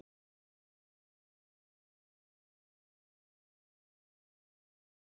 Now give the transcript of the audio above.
Pælið í því ef liðið hefði byrjað tímabilið á þessum nótum?